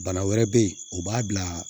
Bana wɛrɛ bɛ yen o b'a bila